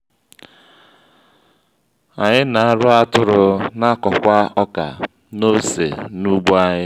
anyị na-arụ atụrụ n'akọkwá ọkà n'ose n'ugbo anyị